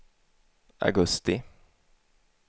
augusti